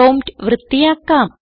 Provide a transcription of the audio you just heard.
prompt വൃത്തിയാക്കാം